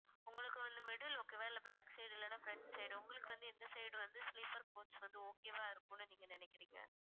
உங்களுக்கு வந்து middle okay வா இல்லை back side இல்லைன்னா front side உங்களுக்கு வந்து எந்த side வந்து sleeper coach வந்து okay வா இருக்கும்னு நீங்க நினைக்கிறீங்க